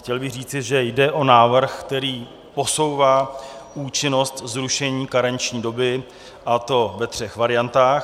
Chtěl bych říci, že jde o návrh, který posouvá účinnost zrušení karenční doby, a to ve třech variantách.